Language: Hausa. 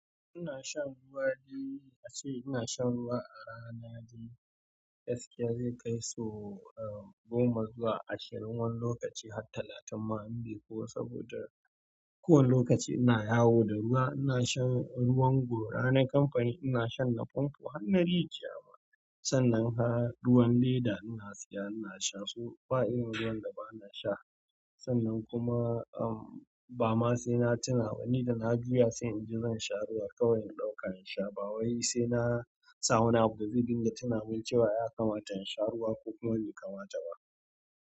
Ina shan ruwa dai ace ina shan ruwa a rana dai. Gaskiya zai kai so am goma zuwa ashirin wani lokaci har talatin ma in bai yi ko saboda kowane lokaci ina yawo da ruwa. Ina shan ruwan gora na kamfani, ina shan na famfo har na rijiya ma sannan har ruwan leda ina siya ina sha, so ba irin ruwan da bana sha. Sannan kuma, ehm, ba ma sai na tuna ba, ni da na juya sai in ji zan sha ruwa kawai in ɗauka in sha ba wai sai na sa wani abu da zai dinga tuna min cewa ya kamata in sha ruwa ko kuma bai kamata ba.